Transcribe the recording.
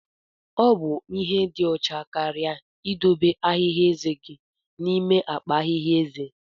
Ọ bụ ihe ịdị ọcha karịa ịdobe ahihia ezé gị n'ime akpa ahịhịa ezé.